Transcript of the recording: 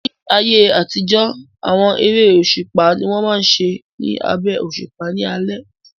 Ní ayé àtijọ́, àwọn eré òṣùpá ni wọ́n máa n ṣe ní abẹ́ òṣùpá ní alẹ́